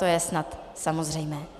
To je snad samozřejmé.